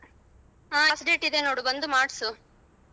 ಹ half rate ಇದೆ ನೋಡು ಬಂದ್ ಮಾಡ್ಸು.